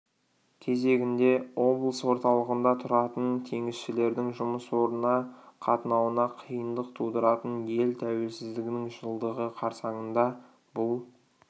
кезегінде облыс орталығында тұратын теңізшілердің жұмыс орнына қатынауына қиындық тудыратын ел тәуелсіздігінің жылдығы қарсаңында бұл